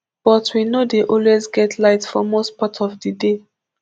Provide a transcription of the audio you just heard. but we no dey always get light for most part of di day